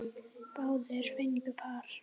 Báðir fengu par.